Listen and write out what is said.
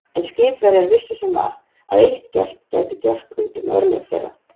En skipverjar vissu sem var, að eitt gelt gæti gert út um örlög þeirra.